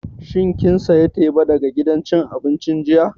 Shin kin saya teba daga gidan cin abincin jiya?